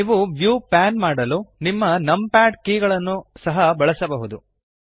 ನೀವು view pan ಮಾಡಲು ನಿಮ್ಮ ನಂಪ್ಯಾಡ್ ಕೀ ಗಳನ್ನು ಸಹ ಬಳಸಬಹುದು